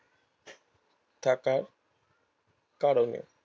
থাকার কারণে